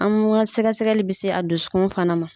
An n ka sɛgɛ sɛgɛli bɛ se a dusukun fana ma.